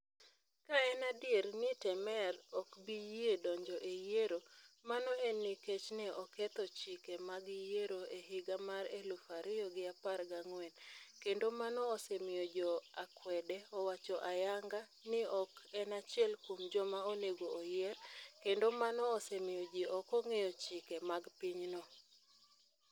Ka en adier ni Temer ok bi yie donjo e yiero, mano en nikech ne oketho chike mag yiero e higa mar elufu ariyo gi apar gangwen', kendo mano osemiyo jo akwede owacho ayanga ni ok en achiel kuom joma onego oyier, kendo mano osemiyo ji ok ong'eyo chike mag pinyno.